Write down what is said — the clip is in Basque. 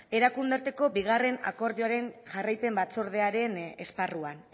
erakunde arteko bigarren akordioaren jarraipen batzordearen esparruan